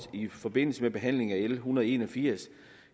i forbindelse med behandlingen af l en hundrede og en og firs